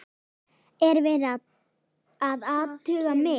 Er verið að athuga mig?